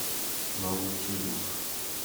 наутилус